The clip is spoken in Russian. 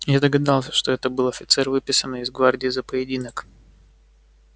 я догадался что это был офицер выписанный из гвардии за поединок